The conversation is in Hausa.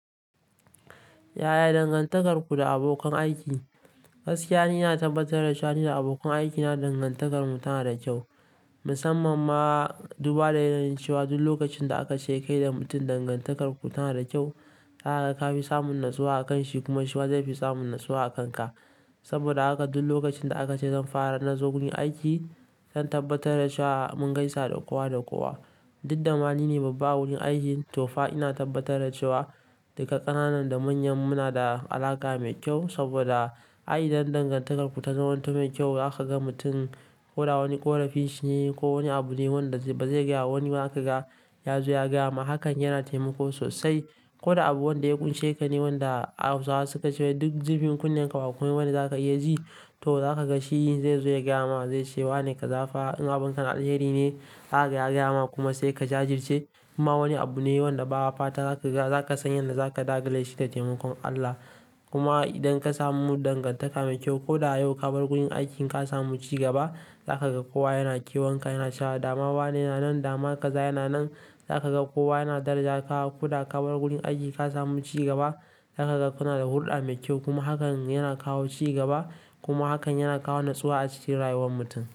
Yaya dangantakarku da abokan aiki? Gaskiya ni ina tabbatar da cewa ni da abokan aikina dangantakarmu tana da kyau, musamman ma duba da yanayin cewa duk lokacin da aka ce kai da mutum dangantakarku tana da kyau, zaka ga kafi samun natsuwa a kanshi kuma shi zai fi samun natsuwa a kanka. Saboda haka duk lokacin da aka ce zan fara na zo gurin aiki zan tabbatar da cewa mun gaisa da kowa da kowa. Diddan ma ni ne babba a wurin aiki to fa ina tabbatar da cewa daga ƙananan da manyan muna da alaƙa mai kyau saboda ai idon dangantakarku ta zama ta mai kyau. Zaka ga mutum ko da wani ƙorafi shi ne ko wani abu ne wanda ba zai iya wani ba zaka ga ya zo ya gaya maka hakan yana taimako sosai. Ko da abu wanda ya kunce ka ne wanda Hausawa suka ce "Duk jirfin kunne ka ba kwai wani za ka iya ji" to za ka ga shi zai zo ya gaya maka zai ce "wane ka zafa in abun ka na alheri ne zaka ya gaya ma kuma sai ka jajirce kuma wani abu ne wanda ba a fata za ka san yadda za ka dakile shi da taimakon Allah. Kuma idan ka samu dangantaka mai kyau ko da yau ka bar wurin aiki ka samu ci gaba za ka ga kowa yana ƙewanka yana cewa "dama wane yana nan dama kaza yana nan" za ka ga kowa yana daraja ka. Ko da ka bar wurin aiki ka samu cigaba za ka ga kuna da hulɗa mai kyau kuma hakan yana kawo cigaba kuma hakan yana kawo natsuwa a cikin rayuwar mutum.